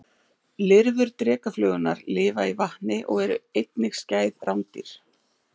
Lirfur drekaflugurnar lifa í vatni og eru einnig skæð rándýr.